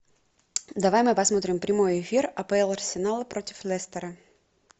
давай мы посмотрим прямой эфир апл арсенал против лестера